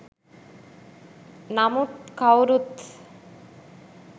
නමුත් කවුරුත්